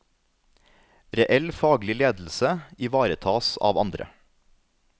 Reell faglig ledelse ivaretas av andre.